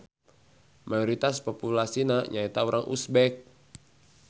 Mayoritas populasina nyaeta Urang Uzbek.